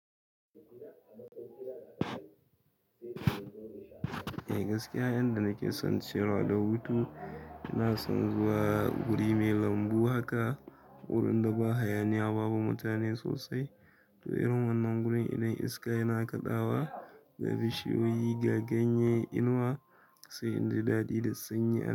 Eh gaskiya, inda nake son ciyarwa da hutu, ina son zuwa guri mai lambu haka wurin da ba hayaniya babu mutane sosai. To irin wannan gurin idan iska yana kaɗawa ga bishiyoyi ga ganye inuwa sai inji daɗi da sanyi.